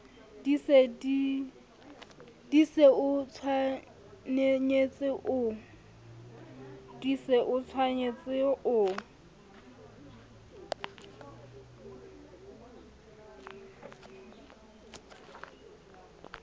di se o tshwenye o